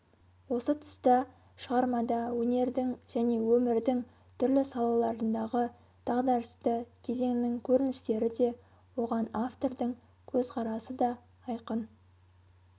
осы тұста шығармада өнердің және өмірдің түрлі салаларындағы дағдарысты кезеңнің көріністері де оған автордың көзқарасы да айқын